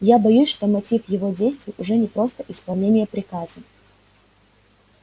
я боюсь что мотив его действий уже не просто исполнение приказа